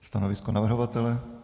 Stanovisko navrhovatele?